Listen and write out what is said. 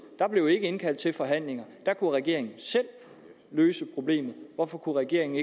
da blev der ikke indkaldt til forhandlinger da kunne regeringen selv løse problemet hvorfor kunne regeringen